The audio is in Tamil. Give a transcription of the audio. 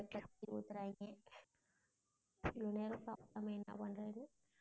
நான் வீட்ல இருக்கேன் பேசுறாங்க இவ்வளோ நேரம் சாப்பிடாம என்ன பண்றேன்னு.